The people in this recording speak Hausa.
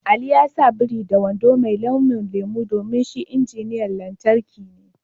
Ali ya sa biri da wando mai launin lemu domin shi injiniyan lantarki ne.